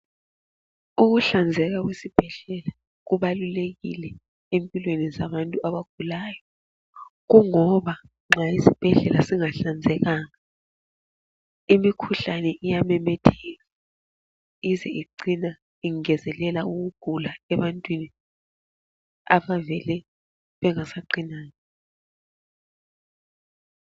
Ukuhlanzeka kwesibhedlela kubalulekile empilweni zabantu abagulayo kungoba nxa izibhedlela zingahlanzekanga imikhuhlane iyamemetheka ize icine ingezelela ukugula ebantwini abavele bengasaqinanga.